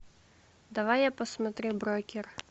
давай я посмотрю брокер